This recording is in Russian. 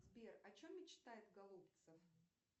сбер о чем мечтает голубцев